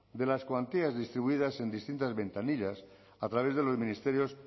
de las cuantías distribuidas en distintas ventanillas a través de los ministerios